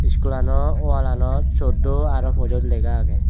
schoolano wallanot soddo aro pojoj lega agey.